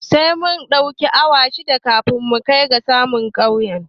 Sai mun ɗauki awa shida kafin mu kai saman tsaunin